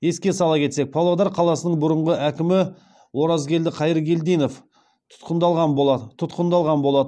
еске сала кетсек павлодар қаласының бұрынғы әкімі оразгелді қайыргелдинов тұтқындалған болатын